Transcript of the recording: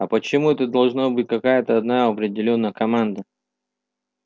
а почему это должна быть какая-то одна определённая команда